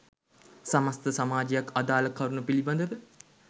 සමස්ථ සමාජයක් අදාල කරුණ පිළිබඳව